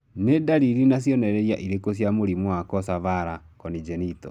Nĩ ndariri na cionereria irĩkũ cia mũrimũ wa Coxa vara, congenital?